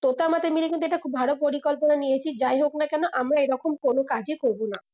তোতে আমাতে মিলে কিন্তু এটা খুব ভালো পরিকল্পনা নিয়েছি যাই হোক না কেন আমরা এই রকম কোনো কাজেই করবো না